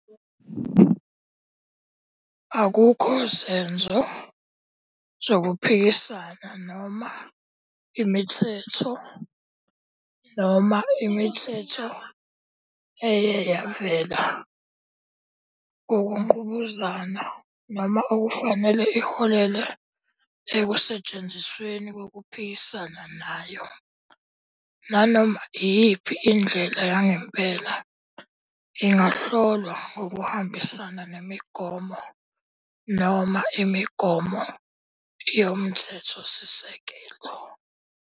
Akukho zenzo zokuphikisana noma imithetho noma imithetho eye yavela ngokungqubuzana noma okufanele iholele ekusetshenzisweni kokuphikisana nayo, nganoma iyiphi indlela yangempela, ingahlolwa ngokuhambisana nemigomo noma imigomo yoMthethosisekelo.